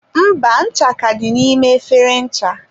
mba, ncha ka dị n'ime efere ncha.